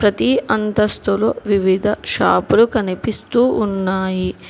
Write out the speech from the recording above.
ఈ అంతస్తులు వివిధ షాపు లు కనిపిస్తు ఉన్నాయి.